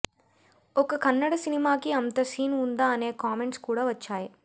ఒక కన్నడ సినిమాకి అంత సీన్ ఉందా అనే కామెంట్స్ కూడా వచ్చాయి